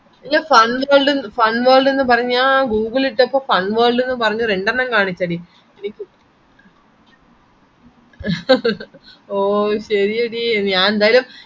ഈ fun world fun world എന്ന്പറഞ്ഞ ഗൂഗ്‌ളിലിട്ടപ്പോ ഫൻവരൾഡ് എന്ന്പറഞ്ഞ രണ്ടണ്ണം കാണിച്ചെടി ഓ ശെരിയടി